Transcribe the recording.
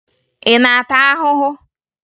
Ị na-ata ahụhụ?